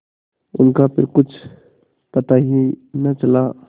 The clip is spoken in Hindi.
उनका फिर कुछ पता ही न चला